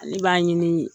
Ale b'a ɲini